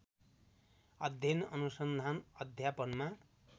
अध्ययन अनुसन्धान अध्यापनमा